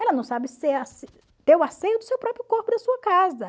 Ela não sabe ter o asseio do seu próprio corpo e da sua casa.